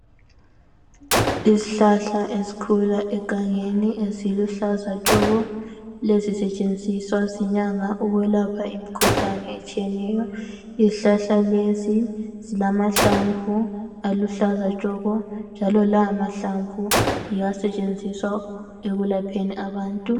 Izhlahla ezkhula egangeni, eziluhlaza tshoko, lezisetshenziswa zinyanga ukwelapha imkhuhlane etshiyeneyo. Izhlahla lezi zilamahlamvu aluhlaza tshoko, njalo lawo mahalamvu yiwo asetshenziswa ekwelapheni abantu.